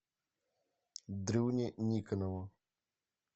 дрюне никонову